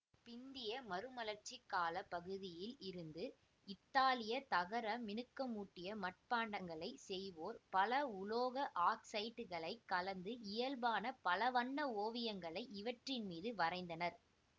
பிந்திய மறுமலர்ச்சிக் கால பகுதியில் இருந்து இத்தாலிய தகரமினுக்கமூட்டிய மட்பாண்டங்களைச் செய்வோர் பல உலோக ஆக்சைட்டுக்களைக் கலந்து இயல்பான பலவண்ண ஓவியங்களை இவற்றின்மீது வரைந்தனர்